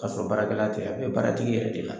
K'a sɔrɔ baarakɛla tɛ a bɛ baaratigi yɛrɛ de la.